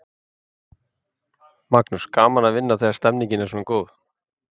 Magnús: Gaman að vinna þegar stemningin er svona góð?